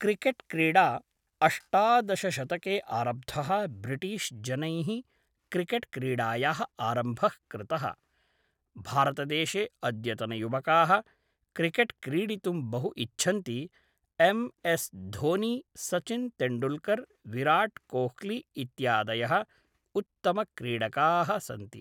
cricket क्रीडा अष्टादशशतके आरब्धः ब्रिटीश्जनैः क्रिकेट् क्रीडायाः आरम्भः कृतः भारतदेशे अद्यतनयुवकाः क्रिकेट् क्रीडितुं बहु इच्छन्ति एम् एस् धोनि सचिन् तेन्डुल्कर् विराट् कोह्लि इत्यादयः उत्तमक्रीडकाः सन्ति